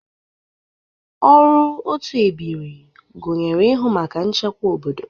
Ọrụ otu ebiri gụnyere ịhụ maka nchekwa obodo.